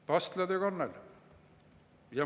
Pastlad ja kannel.